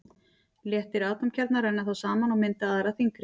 Léttir atómkjarnar renna þá saman og mynda aðra þyngri.